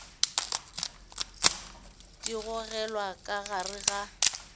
di gogelwa ka gare ga